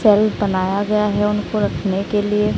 Shelf बनाया गया है उनको रखने के लिए।